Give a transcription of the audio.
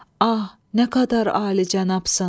Ah, nə qədər alicənabsan!